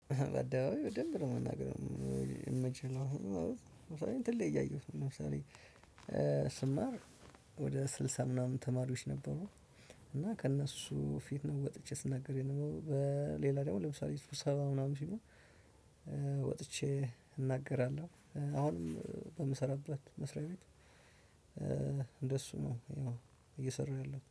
ባደባባይ በደንብ ነው መናገር የምችለው ማለት ለምሳሌ እንትን ላይ ያየሁትን ለምሳሌ ስማር ወደ ስልሳ ምናምን ተማሪዎች ነበሩ። እና ከእነሱ ፊት ነው ወጥቼ ስናገር የነበረው በሌላ ደግሞ ለምሳሌ ስብሰባ ምናምን ሲሆን። ወጥቼ እናገራለሁ አሁንም በምሰራበት መስሪያ ቤት እንደሱ ነው። ያው እየሰራው ያለው